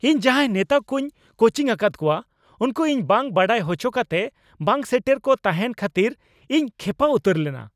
ᱤᱧ ᱡᱟᱸᱦᱟᱭ ᱱᱮᱛᱟ ᱠᱩᱧ ᱠᱳᱪᱤᱝ ᱟᱠᱟᱫ ᱠᱚᱣᱟ ᱩᱱᱠᱩ ᱤᱧ ᱵᱟᱝ ᱵᱟᱰᱟᱭ ᱦᱚᱪᱚ ᱠᱟᱛᱮ ᱵᱟᱝᱼᱥᱮᱴᱮᱨ ᱠᱚ ᱛᱟᱦᱮᱱ ᱠᱷᱟᱹᱛᱤᱨ ᱤᱧ ᱠᱷᱮᱯᱟ ᱩᱛᱟᱹᱨ ᱞᱮᱱᱟ ᱾